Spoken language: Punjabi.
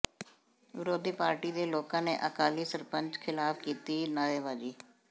ਵਿਰੋਧੀ ਪਾਰਟੀ ਦੇ ਲੋਕਾਂ ਨੇ ਅਕਾਲੀ ਸਰਪੰਚ ਖ਼ਿਲਾਫ਼ ਕੀਤੀ ਨਾਅਰੇਬਾਜ਼ੀ